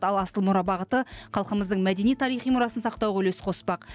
ал асыл мұра бағыты халқымыздың мәдени тарихи мұрасын сақтауға үлес қоспақ